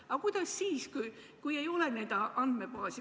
Aga kuidas siis, kui ei ole andmebaasi?